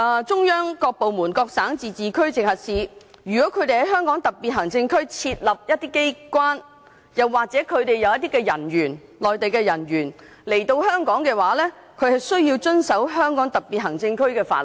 "中央各部門、各省、自治區、直轄市如需在香港特區設立機構，又或是一些內地人員來港，均須遵守香港特區的法律。